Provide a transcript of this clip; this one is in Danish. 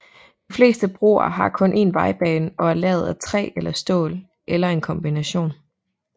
De fleste broer har kun en vejbane og er lavet af træ eller stål eller en kombination